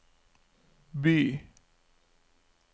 by